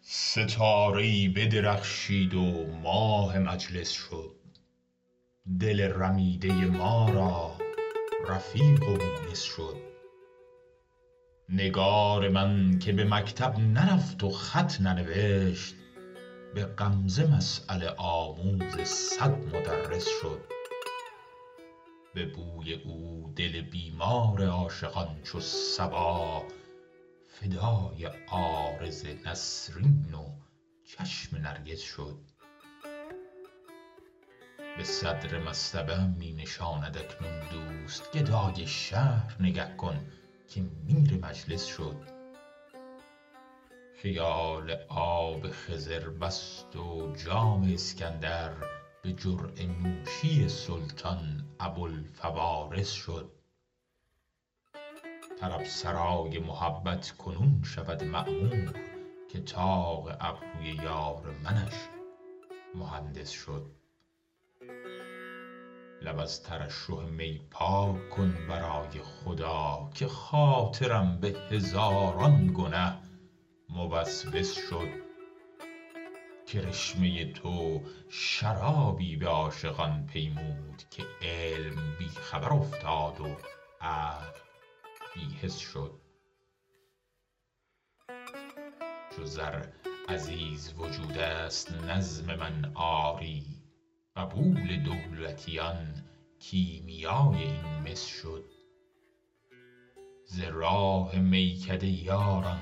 ستاره ای بدرخشید و ماه مجلس شد دل رمیده ما را رفیق و مونس شد نگار من که به مکتب نرفت و خط ننوشت به غمزه مسأله آموز صد مدرس شد به بوی او دل بیمار عاشقان چو صبا فدای عارض نسرین و چشم نرگس شد به صدر مصطبه ام می نشاند اکنون دوست گدای شهر نگه کن که میر مجلس شد خیال آب خضر بست و جام اسکندر به جرعه نوشی سلطان ابوالفوارس شد طرب سرای محبت کنون شود معمور که طاق ابروی یار منش مهندس شد لب از ترشح می پاک کن برای خدا که خاطرم به هزاران گنه موسوس شد کرشمه تو شرابی به عاشقان پیمود که علم بی خبر افتاد و عقل بی حس شد چو زر عزیز وجود است نظم من آری قبول دولتیان کیمیای این مس شد ز راه میکده یاران